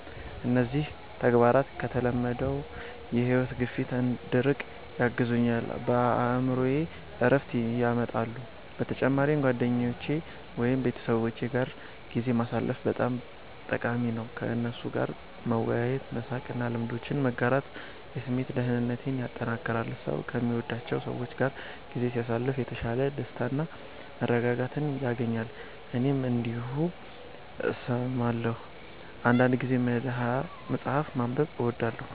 እነዚህ ተግባራት ከተለመደው የሕይወት ግፊት እንድርቅ ያግዙኛል፣ በአእምሮዬም ዕረፍት ያመጣሉ። በተጨማሪም ጓደኞቼ ወይም ቤተሰቦቼ ጋር ጊዜ ማሳለፍ በጣም ጠቃሚ ነው። ከእነርሱ ጋር መወያየት፣ መሳቅ እና ልምዶችን መጋራት የስሜት ደህንነቴን ያጠናክራል። ሰው ከሚወዳቸው ሰዎች ጋር ጊዜ ሲያሳልፍ የተሻለ ደስታና መረጋጋት ያገኛል። እኔም እንዲሁ እሰማለሁ። አንዳንድ ጊዜ መጽሐፍ ማንበብ እወዳለሁ